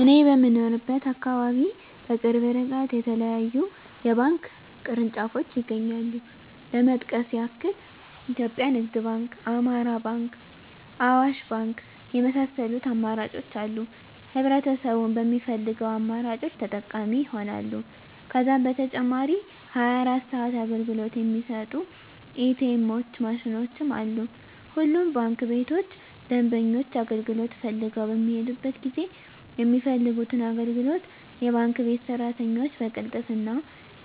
እኔ በምኖርበት አካባቢ በቅርብ እርቀት የተለያዩ የባንክ ቅርንጫፎች ይገኛሉ ለመጥቀስ ያክል ኢትዮጵያ ንግድ ባንክ፣ አማራ ባንክ፣ አዋሽ ባንክ የመሳሰሉት አማራጮች አሉ ህብረተሰቡም በሚፈልገው አማራጮች ተጠቃሚ ይሆናሉ። ከዛም በተጨማሪ 24 ሰዓት አገልግሎት የሚሰጡ ኢ.ቲ. ኤምዎች ማሽኖችም አሉ። ሁሉም ባንክ ቤቶች ደንበኞች አገልግሎት ፈልገው በሚሔዱበት ጊዜ የሚፈልጉትን አገልግሎት የባንክ ቤት ሰራተኞች በቅልጥፍና፣